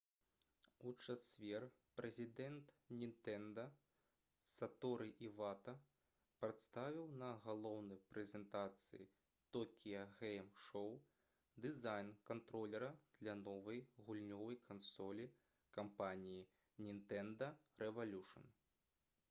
у чацвер прэзідэнт «нінтэнда» саторы івата прадставіў на галоўнай прэзентацыі «токіа гэйм шоу» дызайн кантролера для новай гульнёвай кансолі кампаніі «нінтэнда рэвалюшн»